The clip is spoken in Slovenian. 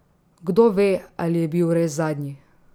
Kdo ve, ali je bil res zadnji.